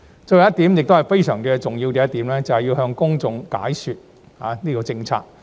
最後一點，亦是非常重要的一點，便是向公眾解說政策。